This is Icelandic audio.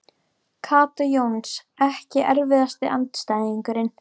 Kata Jóns Ekki erfiðasti andstæðingur?